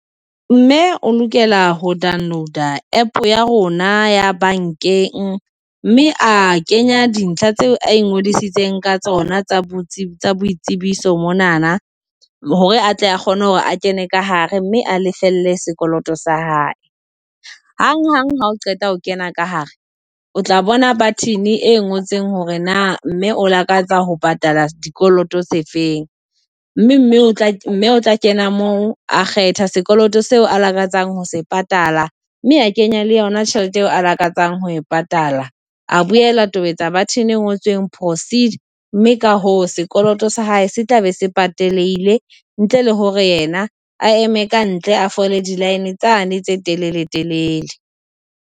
Mme o lokela ho download a app ya rona ya bankeng, mme a kenya dintlha tseo a ngodisitseng ka tsona tsa boitsebiso monana hore a tle kgona hore a kene ka hare mme a lefelle sekoloto sa hae, hanghang ha o qeta ho kena ka hare, o tla bona button e ngotseng hore na mme o lakatsa ho patala dikoloto se feng mme mme o tla o tla kena moo a kgetha sekoloto seo a lakatsang ho se patala mme kenya le yona tjhelete eo a lakatsang ho e patala. A boela a tobetsa button e ngotsweng proceed mme ka ho sekoloto sa hae se tla be se pataleheile, ntle le hore yena a eme ka ntle, a fole di-line tsane tse telele telele.